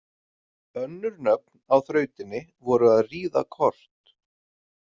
Önnur nöfn á þrautinni voru að ríða kort.